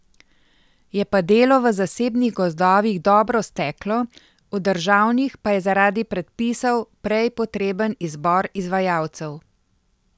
Je pa delo v zasebnih gozdovih dobro steklo, v državnih pa je zaradi predpisov prej potreben izbor izvajalcev.